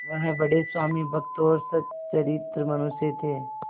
वह बड़े स्वामिभक्त और सच्चरित्र मनुष्य थे